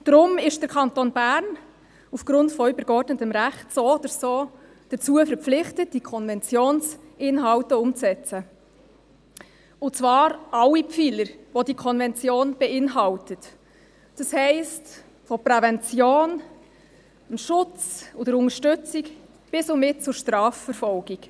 Deshalb ist der Kanton Bern aufgrund von übergeordnetem Recht so oder so dazu verpflichtet, die Konventionsinhalte umzusetzen, und zwar alle Pfeiler, die die Konvention beinhaltet, das heisst von der Prävention, dem Schutz und der Unterstützung, bis und mit zur Strafverfolgung.